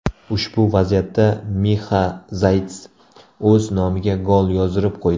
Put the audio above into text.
Ushbu vaziyatda Mixa Zayts o‘z nomiga gol yozdirib qo‘ydi.